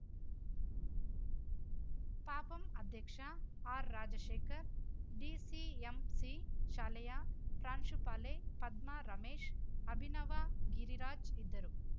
ಪಪಂ ಅಧ್ಯಕ್ಷ ಆರ್‌ರಾಜಶೇಖರ್‌ ಡಿಸಿಎಂಸಿ ಶಾಲೆಯ ಪ್ರಾಂಶುಪಾಲೆ ಪದ್ಮರಮೇಶ್‌ ಅಭಿನವ ಗಿರಿರಾಜ್‌ ಇದ್ದರು